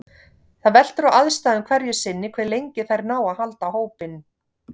Það veltur á aðstæðum hverju sinni hve lengi þær ná að halda hópinn.